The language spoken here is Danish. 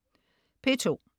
P2: